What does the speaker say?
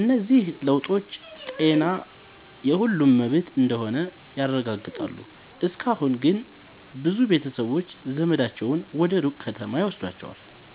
እነዚህ ለውጦች ጤና የሁሉም መብት እንደሆነ ያረጋግጣሉ። እስካሁን ግን ብዙ ቤተሰቦች ዘመዳቸውን ወደ ሩቅ ከተማ ይወስዷቸዋል።